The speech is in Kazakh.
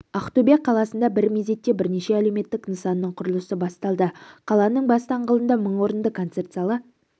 ақтөбе қаласында бір мезетте бірнеше әлеуметтік нысанның құрылысы басталды қаланың бас даңғылында мың орынды концерт залы